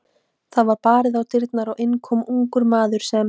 Það var barið að dyrum og inn kom ungur maður, sem